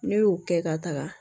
Ne y'o kɛ ka taga